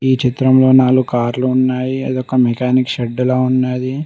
ఈ చిత్రంలో నాలుగు కార్లు ఉన్నాయి అదొక మెకానిక్ షడ్డులా ఉన్నాది.